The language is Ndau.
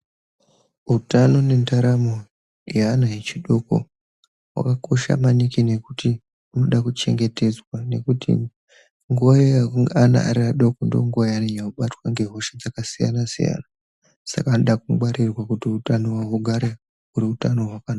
Utano nendaramo yeana echidoko vakakosha maningi nekuti unoda kuchengetedzwa. Nekuti nguva iya yekuti ari ana adoko ndonguva yaanonyanya kubatwa ngehosha dzakasiyana-siyana. Saka anoda kungwarirwa kuti hutano hwavo hugare huri hutano hwakanaka.